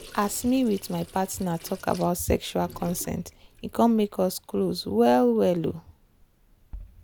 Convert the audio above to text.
as me with my partner talk about sexual consent e come make us close well well. um